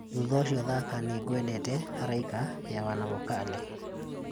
thutha ũcio thaaka nĩ ngwendete araika ya wanavokali